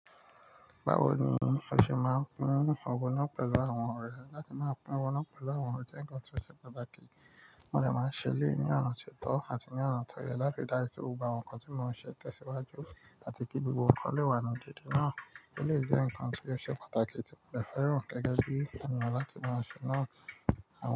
Báwo ni o ṣe máa ń pín owó náà pẹ̀lú àwọn ọ̀rẹ́ láti má pín owó náà pẹ̀lú àwọn ọ̀rẹ́ je nǹkan tí ó ṣe pàtàkì? Mo dè máa ń ṣe elè yí ni ọ̀nà tó tọ́ àti ní ọ̀nà tó yẹ láti dájú pé mo gbo nǹkan tí mò ń ṣe tẹ́siwájú àti kí gbogbo wọn kó le wà nínú déédé náà. Ó dè jẹ́ ǹkan tí ó ṣe pàtàkì tí mo dè fẹ́ràn gẹ́gẹ́ bí ẹnìyan la tí màá ṣe náà. Àwọn.